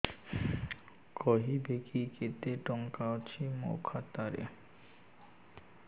କହିବେକି କେତେ ଟଙ୍କା ଅଛି ମୋ ଖାତା ରେ